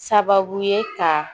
Sababu ye ka